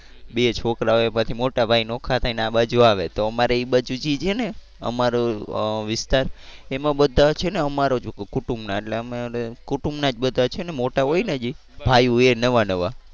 બે છોકરા હોય એમાંથી મોટા ભાઈ નોખા થઈ ને આ બાજુ આવે તો અમારે એ બાજુ છે ને અમારો અ વિસ્તાર એમાં બધા છે ને અમારા જ કુટુંબ ના એટલે અમારે કુટુંબના જ બધા છે ને મોટા હોય ને જે ભાઈયું એ નવા નવા